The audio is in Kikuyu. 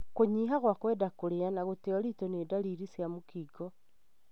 Kũnyiha gwa kwenda kũria na gũte ũritũ nĩ ndariri cia mũkingo.